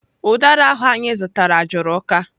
Udara ahụ anyị zụtara juru uka.